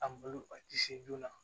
A malo a tɛ se joona